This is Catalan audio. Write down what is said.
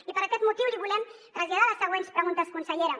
i per aquest motiu li volem traslladar les següents preguntes consellera